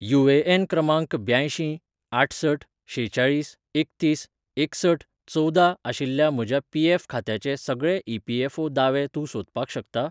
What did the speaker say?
UAN क्रमांक ब्यांयशीं आठसठ शेचाळीस एकतीस एकसठ चवदा आशिल्ल्या म्हज्या पीएफ खात्याचे सगळे ई.पी.एफ.ओ दावे तूं सोदपाक शकता?